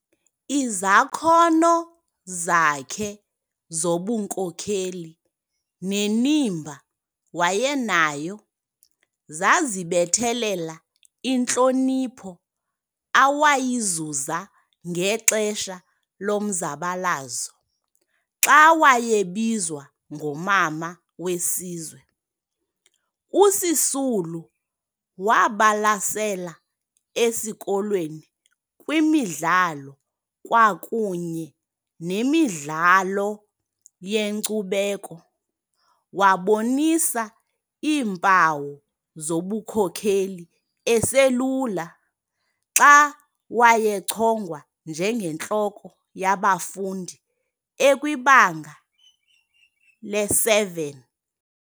Izakhono zakhe zobunkokheli, nenimba wayenayo zazibethelela intlonipho awayizuza ngexesha lomzabalazo xa wayebizwa ngomama wesizwe. USisulu wabalasela esikolweni kwimidlalo kwakunye nemidlalo yenkcubeko, wabonisa iimpawu zobunkokheli eselula xa wayechongwa njenge ntloko yabafundi ekwibanga lesi-7.